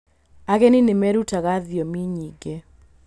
Ageni nĩ merutaga thiomi nyingĩ.